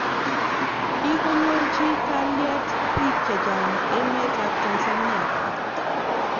Kigonyorji kaliet bik checha'ng emet ab Tanzania.